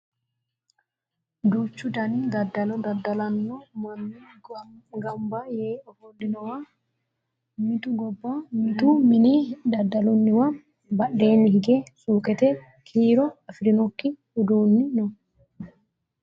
duuchu dani daddalo daddalanno manni ganaba yee ofollinowa mitu gobba mitu mine daddalannowa badheenni hige suuqete kiiro afirinokki uduunni no